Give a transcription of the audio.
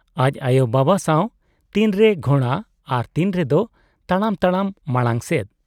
ᱟᱡ ᱟᱭᱳ ᱵᱟᱵᱟ ᱥᱟᱶ ᱛᱤᱱ ᱨᱮ ᱜᱷᱚᱬᱲᱟ ᱟᱨ ᱛᱤᱱ ᱨᱮᱫᱚ ᱛᱟᱲᱟᱢᱛᱟᱲᱟᱢ ᱢᱟᱬᱟᱝ ᱥᱮᱫ ᱾